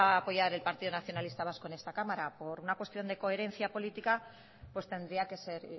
apoyar el partido nacionalista vasco en esta cámara por una cuestión de coherencia política pues tendría que ser